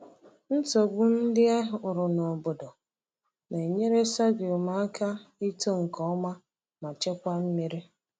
Nsogbu ndị e hụrụ n’obodo na-enyere sorghum aka ito nke ọma ma chekwaa mmiri.